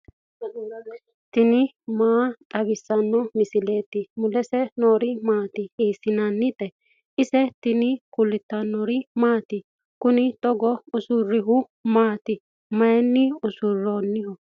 tini maa xawissanno misileeti ? mulese noori maati ? hiissinannite ise ? tini kultannori maati? Kunni togo usuriri maati? Mayi usurammino?